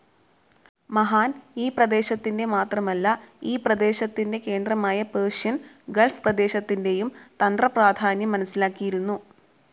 മഹാൻ ഈ പ്രദേശത്തിൻ്റെ മാത്രമല്ല ഈ പ്രദേശത്തിൻ്റെ കേന്ദ്രമായ പേർഷ്യൻ ഗൾഫ്‌ പ്രദേശത്തിൻ്റെയും തന്ത്രപ്രാധാന്യം മനസിലാക്കിയിരുന്നു.